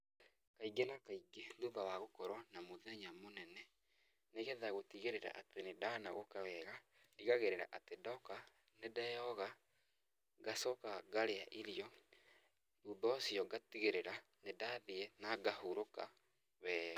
Kaingĩ na kaingĩ thutha wa gũkorũo na mũthenya mũnene, nĩ getha gũtigĩrĩra atĩ nĩ ndanogoka wega, ndigagĩrĩra atĩ ndoka nĩ ndeyoga ngacoka ngarĩa irio, thutha ũcio ngatigĩrĩra ni ndathiĩ na ngahurũka wega.